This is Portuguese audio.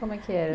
Como é que era?